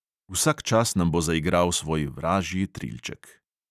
Vsak čas nam bo zaigral svoj vražji trilček.